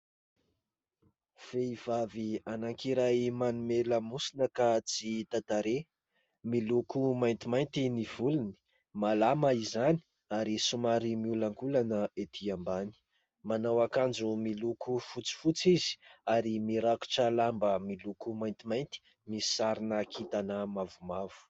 Vehivavy anankiray manome lamosina ka tsy hita tarehy. Miloko maintimainty ny volony, malama izany ary somary miolankolana etỳ ambany ; manao ankanjo miloko fotsifotsy izy ary mirakotra lamba miloko maintimainty misy sarina kintana mavomavo.